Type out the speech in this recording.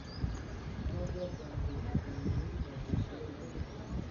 трансляция английской премьер лиги манчестера и тоттенхэма